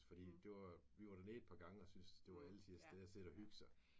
Fordi det var vi var dernede et par gange og syntes det var alletiders sted at sidde og hygge sig